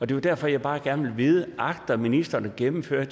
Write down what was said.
det er derfor jeg bare gerne vil vide agter ministeren at gennemføre